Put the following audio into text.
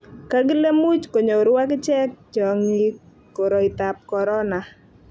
kakile much konyoru ak ichek chong'ik koroitab korona